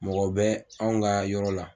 Mɔgɔw bɛ an ka yɔrɔ la.